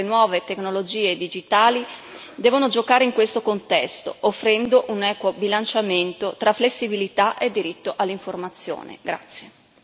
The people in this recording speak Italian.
Di fondamentale importanza, poi, è il ruolo strategico che le nuove tecnologie digitali devono giocare in questo contesto, offrendo un equo bilanciamento tra flessibilità e diritto all'informazione.